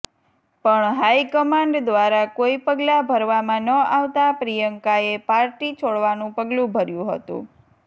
પણ હાઈકમાન્ડ દ્રારા કોઈ પગલાં ભરવામાં ન આવતા પ્રિયંકાએ પાર્ટી છોડવાનું પગલું ભર્યું હતું